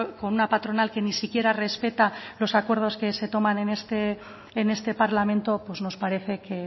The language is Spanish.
con una patronal que ni siquiera respeta los acuerdos que se toman en este parlamento pues nos parece que